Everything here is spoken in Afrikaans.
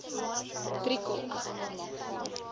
driekop